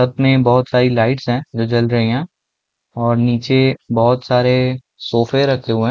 सब में बहुत सारी लाइट्स हैं जो जल रही हैं और नीचे बहुत सारे सोफ़े रखे हुए हैं।